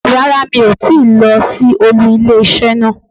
Rárá mi ò tíì lo sí olú ilé isé náà